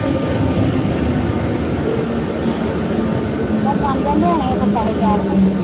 ਅੱਛਾ ਅੱਛਾ ਠੀਕ ਆ ਚਲ ਬਣ ਜਾਂਦੇ ਹੋਣੇ ਉਥੇ ਪੈਸੇ ਚਾਰ ਕੇ,